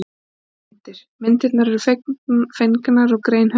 Myndir: Myndirnar eru fengnar úr grein höfundar.